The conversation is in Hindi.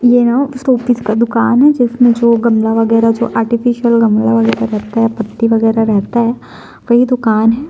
यू नो शोपीस का दुकान है जिसमें जो गमला वगैरह जो आर्टिफिशियल गमला वगैरा रहता है पत्ती वगैरा रहता है वही दुकान है।